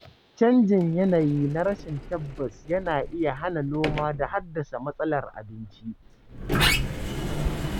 Canjin yanayi na rashin tabbas yana iya hana noma da haddasa matsalar abinci.